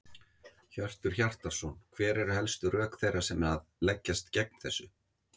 Hjörtur Hjartarson: Hver eru helstu rök þeirra sem að leggjast gegn þessu?